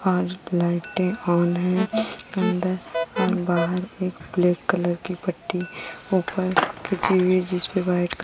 और लाइटे ऑन हैं। अंदर और बाहर एक ब्लैक कलर की पट्टी ऊपर खींची हुई है। जिसपे व्हाइट --